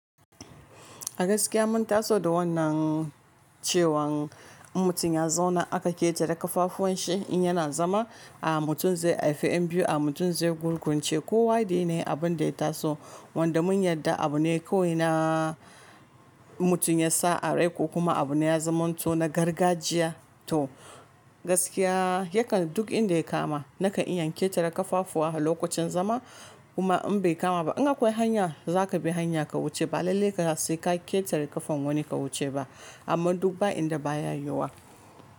Gaskiya mun taso da wannan cewan in mutum ya zauna aka ƙetare kafafuwan shi in yana zama a mutum zai haife ƴan biyu a mutum zai gurgunce. Kowa da yanayin abun da ya taso wanda mun yarda abu ne kawai na mutum ya sa a rai ko kuma abu ne ya zama to na gargajiya to gaskiya yakan duk inda ya kama nakan in yan ƙetare kafafuwa lokacin zama kuma in bai kama ba in akwai hanya za ka bi hanya ka wuce ba lallai ka sai ka ƙetare ƙafan wani ka wuce ba amma duk ba inda baya yiwuwa.